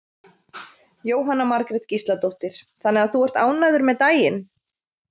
Jóhanna Margrét Gísladóttir: Þannig að þú ert ánægður með daginn?